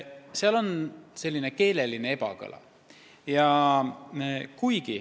Siin justkui on mingi ebakõla.